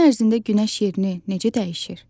Gün ərzində günəş yerini necə dəyişir?